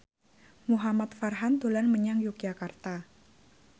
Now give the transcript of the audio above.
Muhamad Farhan dolan menyang Yogyakarta